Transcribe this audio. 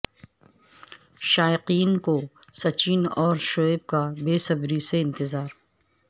شائقین کو سچن اور شعیب کا بےصبری سے انتظار